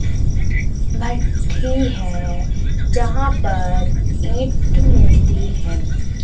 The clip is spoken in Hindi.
भट्ठी है जहां पर ईंट मिलती हैं।